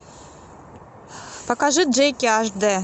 покажи джеки аш дэ